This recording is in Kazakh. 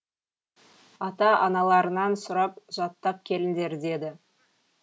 ата аналарыңнан сұрап жаттап келіңдер деді